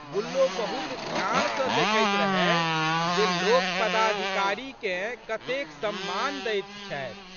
गुल्लो बहुत ध्यान सँ देखैत रहए जे लोक पदाधिकारीकेँ कतेक सम्मान दैत छथि।